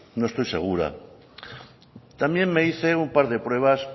no estoy segura también me hice un par de pruebas